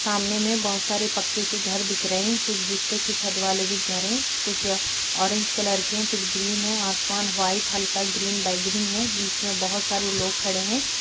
सामने में बोहोत सारे पक्के के घर दिख रहे हैं कुछ की छत वाले भी दिख रहे हैं और कुछ ऑरेंज कलर के कुछ ग्रीन हैं आसमान व्हाइट हल्का ग्रीन और बैगनी है बीच में बोहोत सारे लोग खड़े हैं ।